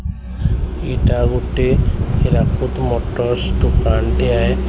ଇଟା ଗୋଟେ ହିରାକୁଦ୍ ମୋଟରସ୍ ଦୋକାନ ଟିଆଏ ଳ।